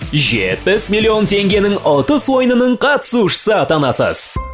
жетпіс миллион теңгенің ұтыс ойынының қатысушысы атанасыз